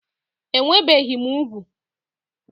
Enwebeghị m úgwù